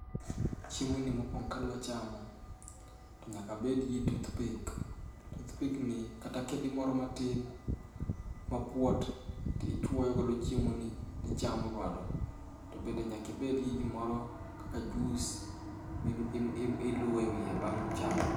Chiemoni mokuongo kadwa chamo to nyaka abed gi toothpick, toothpick ni kata kedi moro matin mapulot to ichuoyogo chiemoni to ichamo. To bende nyaka ibed kod gimoro kaka juice ma iluowo ewiye bang' chamo.